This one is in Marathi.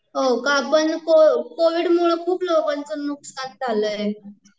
हो का, पण कोविड मुळं खूप लोकांचं नुकसान झालंय